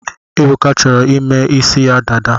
Ebuka chọrọ ime ịsị ya dada